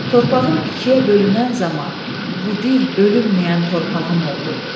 Torpağım ikiyə bölünən zaman bu dil bölünməyən torpağım oldu.